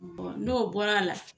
N'o bɔra a la.